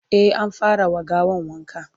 e an fara wa gawan wanka